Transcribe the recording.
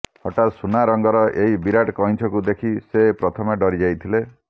ହଠାତ ସୁନା ରଙ୍ଗର ଏହି ବିରାଟ କଇଁଛକୁ ଦେଖି ସେ ପ୍ରଥମେ ଡ଼ରିଯାଇଥିଲେ